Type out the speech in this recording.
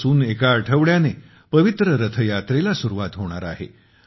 आजपासुन एक आठवड्याने पवित्र रथयात्रेला सुरुवात होणार आहे